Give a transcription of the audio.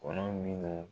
Kɔnɔ minnu